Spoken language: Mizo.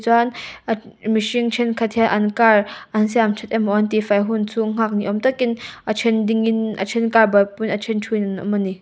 ahh mihring thenkhat hi an car an siamthat emaw an tihfai hunchhung nghak ni awm takin a then dingin a then car buaipuiin a then thu in an awm a ni.